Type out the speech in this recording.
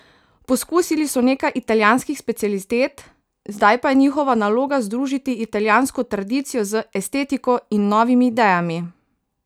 Pokusili so nekaj italijanskih specialitet, zdaj pa je njihova naloga združiti italijansko tradicijo z estetiko in novimi idejami.